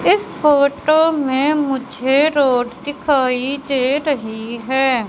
इस फोटो में मुझे रोड दिखाई दे रही है।